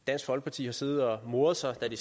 dansk folkeparti har siddet og moret sig da de